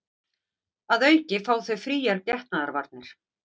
Að auki fá þau fríar getnaðarvarnir